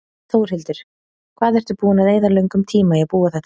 Þórhildur: Hvað ertu búinn að eyða löngum tíma í að búa þetta til?